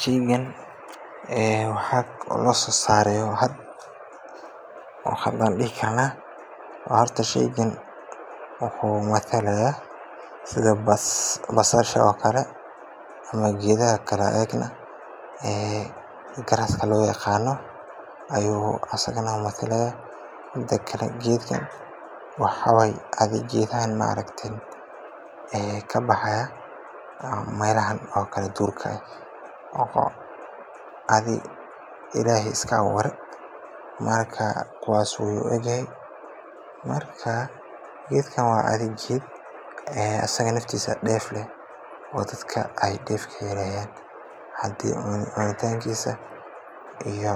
Sheygan waxaa lasoo saaray hada, sheygan wuxuu matalaya sida basasha ama geedaha garaska loo yaqaano, geedkan waxaa waye geeedaha meelaha duurka kabaxo, geedka waa geed deef leh, hadii cunitankisa iyo